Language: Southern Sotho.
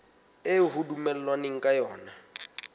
eo ho dumellanweng ka yona